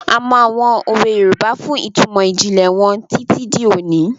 A mọ àwọn òwe Yorùbá fún ìtumọ̀ ìjìnlẹ̀ wọn títí di òní.